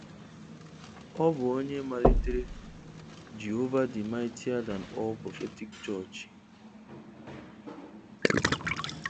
Ọ bụ onye malitere 'Jehova The Mightier Than All Prophetic Church'.